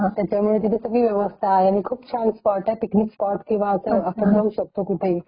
त्याचमुळे तिथे सगळी व्यवस्था आहे . खूप छान स्पॉट आहे पिकनिक स्पॉट आपण जाऊ शकतो कुठेही .